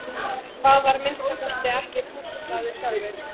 Hann var að minnsta kosti ekki pússaður sjálfur.